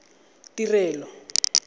tirelo